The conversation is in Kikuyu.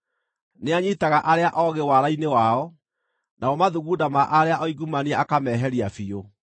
Nĩanyiitaga arĩa oogĩ waara-inĩ wao, namo mathugunda ma arĩa oingumania akaameheria biũ.